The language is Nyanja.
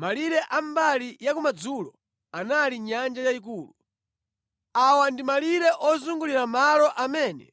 Malire a mbali ya kumadzulo anali Nyanja Yayikulu. Awa ndi malire ozungulira malo amene